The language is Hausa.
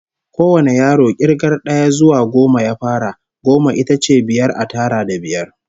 Kowane yaro k'irgar d'aya zuwa goma ya fara. Goma ita ce biyar a tara da biyar.